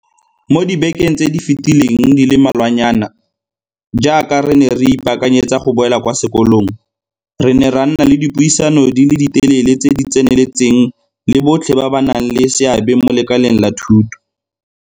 Mo dibekeng tse di fetileng di le malwanyana, jaaka re ne re ipaakanyetsa go boela kwa sekolong, re ne ra nna le dipuisano di le telele tse di tseneletseng le botlhe ba ba nang le seabe mo lekaleng la thuto.